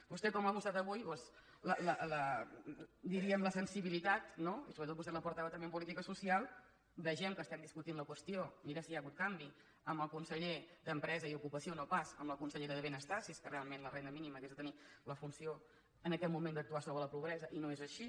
vostè ha mostrat avui diríem la sensibilitat no i sobretot vostè és la portaveu també en política social veiem que estem discutint la qüestió mira si hi ha hagut canvi amb el conseller d’empresa i ocupació no pas amb la consellera de benestar si és que realment la renda mínima hagués de tenir la funció en aquest moment d’actuar sobre la pobresa i no és així